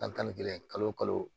Tan ni kelen kalo o kalo